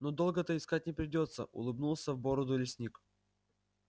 ну долго-то искать не придётся улыбнулся в бороду лесник